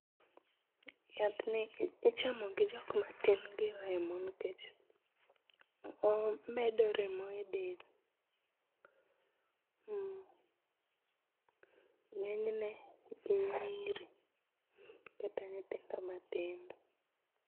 Yathni ichamo gi jokma tin gi remo nikech omedo remo e del, mmh.Ngenyne nyiri kata nyithindo matindo